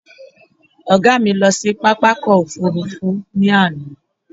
Ọ̀gá mi lọ sí pápákọ̀ ọkọ̀ òfurufú ní àná